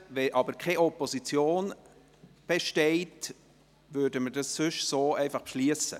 Wenn aber keine Opposition besteht, wäre dies so beschlossen.